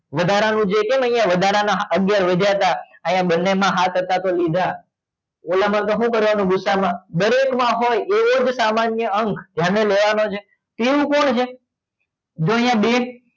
વધારાનો જે છે એ વધારાનું વધારાના અગિયાર વધ્યા હતા એ બંનેમાં હાત હતાં તો લીધા ઓલામાં તો હું કરવાનું ભુસા દરેકમાં હોય એ સામાન્ય અંક જેને લેવાનો છે પીળું કોણ છે જો અહીંયા બે